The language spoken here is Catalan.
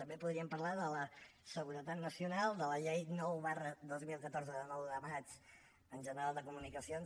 també podríem parlar de la seguretat nacional de la llei nou dos mil catorze de nou de maig en general de comunicacions